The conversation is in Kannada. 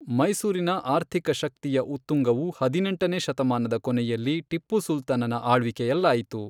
ಮೈಸೂರಿನ ಆರ್ಥಿಕ ಶಕ್ತಿಯ ಉತ್ತುಂಗವು, ಹದಿನೆಂಟನೇ ಶತಮಾನದ ಕೊನೆಯಲ್ಲಿ ಟಿಪ್ಪು ಸುಲ್ತಾನನ ಆಳ್ವಿಕೆಯಲ್ಲಾಯಿತು.